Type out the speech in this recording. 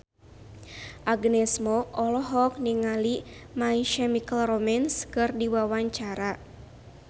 Agnes Mo olohok ningali My Chemical Romance keur diwawancara